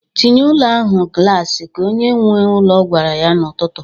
"Tinye ụlọ ahụ glasị!" ka onye nwe ụlọ gwara ya n'ụtụtụ.